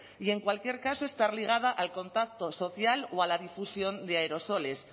y en cualquier caso estar ligada al contacto social o a la difusión de aerosoles